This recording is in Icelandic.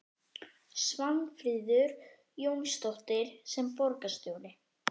Svanfríður Jónsdóttir: Sem borgarstjóri?